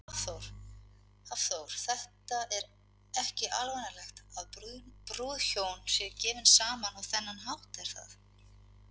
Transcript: Hafþór: Þetta er ekki alvanalegt að brúðhjón eru gefin saman á þennan hátt, er það?